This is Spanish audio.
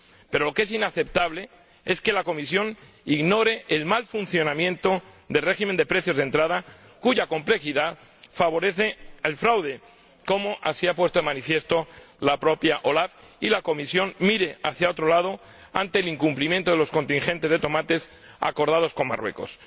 Pero lo que es inaceptable es que la Comisión ignore el mal funcionamiento del régimen de precios de entrada, cuya complejidad favorece el fraude, como así ha puesto de manifiesto la propia OLAF, y que la Comisión mire hacia otro lado ante el incumplimiento de los contingentes de tomates acordados con Marruecos.